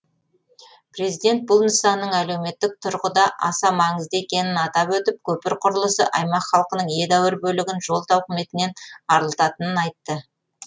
президент бұл нысанның әлеуметтік тұрғыда аса маңызды екенін атап өтіп көпір құрылысы аймақ халқының едәуір бөлігін жол тауқыметінен арылтатынын айтты